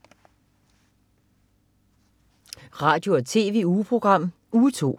Radio- og TV-ugeprogram Uge 2